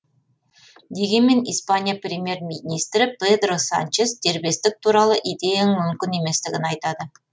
дегенмен испания премьер министрі педро санчес дербестік туралы идеяның мүмкін еместігін айтады